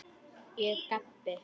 Ég gapi.